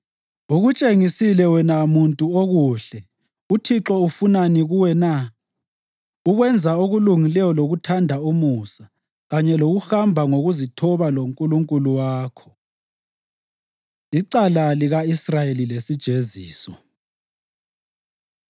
Ukutshengisile wena muntu okuhle. UThixo ufunani kuwe na? Ukwenza okulungileyo lokuthanda umusa kanye lokuhamba ngokuzithoba loNkulunkulu wakho. Icala Lika-Israyeli Lesijeziso